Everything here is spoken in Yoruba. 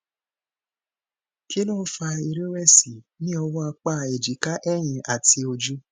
kí ló ń fa ìrèwèsì ní ọwó apá ejika èyìn àti ojú